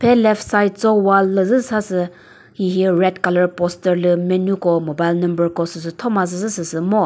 eh left side cho wall lü zü sa sü hihi red colour posture lü menu ko mobile number ko süsü thoma zü süsü ngo.